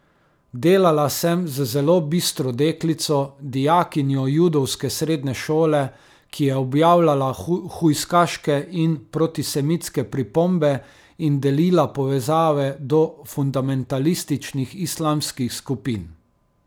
Delala sem z zelo bistro deklico, dijakinjo judovske srednje šole, ki je objavljala hujskaške in protisemitske pripombe in delila povezave do fundamentalističnih islamskih skupin.